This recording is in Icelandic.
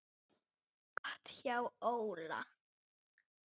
Gott hjá Óla.